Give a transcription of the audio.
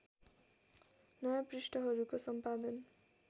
नयाँ पृष्ठहरूको सम्पादन